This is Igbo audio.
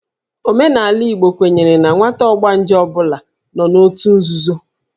Omenala Igbo kwenyere na nwata ọgbanje ọ bụla nọ n'òtù nzuzo